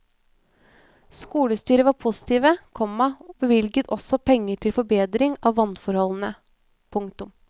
Skolestyret var positive, komma og bevilget også penger til forbedring av vannforholdene. punktum